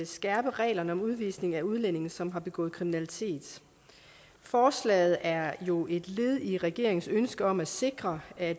skærpe reglerne om udvisning af udlændinge som har begået kriminalitet forslaget er jo et led i regeringens ønske om at sikre at